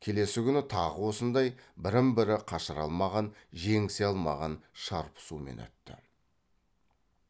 келесі күні тағы осындай бірін бірі қашыра алмаған жеңісе алмаған шарпысумен өтті